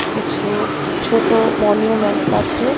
কিছু ছোটো মনিউমেন্টস আছে.